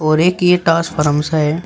और एक ये टास फारम्स है।